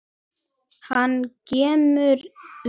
Hann kímir við.